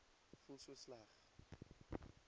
voel so sleg